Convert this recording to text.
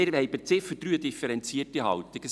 Wir haben zur Ziffer 3 eine differenzierte Haltung.